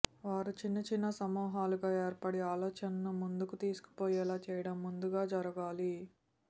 వారు చిన్నచిన్న సమూహాలుగా ఏర్పడి ఆలోచనను ముందుకు తీసుకుపోయేలా చేయడం ముందుగా జరుగాలి